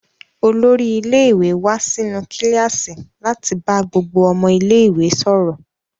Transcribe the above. Olórí ilé-ìwé wá sínú kíláàsì láti bá gbogbo ọmọ ilé-ìwé sọ̀rọ̀.